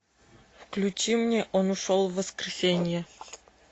включи мне он ушел в воскресенье